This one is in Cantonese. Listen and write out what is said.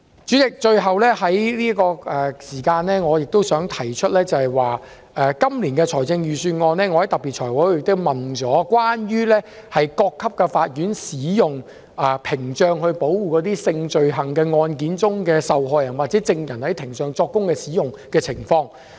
主席，我最後想指出，就今年度的預算案，我在財務委員會特別會議問及關於各級法院使用屏障保護性罪行案件受害人或證人的情況。